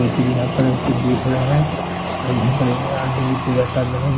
कोई चीज़ यहाँ पर एसे देख रहा है और यहां पर आंटी जी पूजा कर --